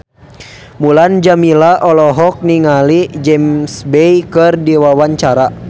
Mulan Jameela olohok ningali James Bay keur diwawancara